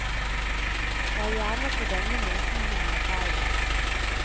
Det er gjerne på denne måten hun arbeider.